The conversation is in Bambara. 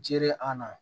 Jere an na